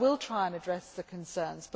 So I will try and address the concerns.